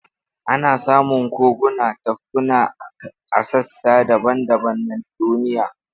Ana samun koguna da tafkuna a sassa daban-daban na duniya.